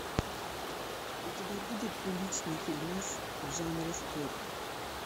у тебя будет приличный фильмас в жанре спорт